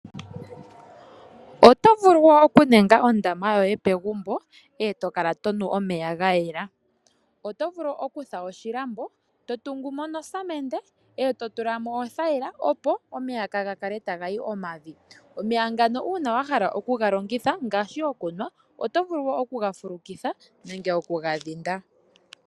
Otovulu oku ninga ondama yoye pegumbo, eto kala tonu omeya gayela. Otovulu okufula oshilambo totungumo nofulula eto tulamo othaila opo omeya kaagakale taga yi omavi. Omeya ngaka uuna wahala oku galongitha otovulu okuga fulukitha nenge okuga dhinda.